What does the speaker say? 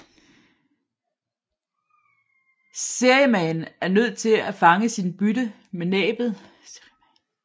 Seriemaen er nødt til at fange sit bytte med næbbet